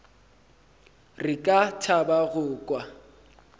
re ka thaba go kwa